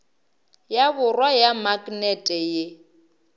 ya borwa ya maknete ye